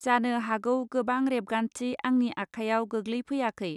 जानो हागौ गोबां रेबगान्थि आंनि आखाइयाव गोग्लैफैयाखै.